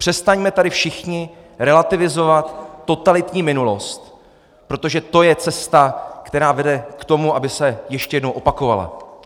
Přestaňme tady všichni relativizovat totalitní minulost, protože to je cesta, která vede k tomu, aby se ještě jednou opakovala.